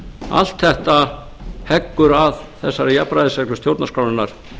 allt þetta heggur að þessari jafnræðisreglu stjórnarskrárinnar